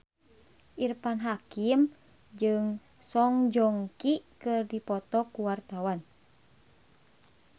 Irfan Hakim jeung Song Joong Ki keur dipoto ku wartawan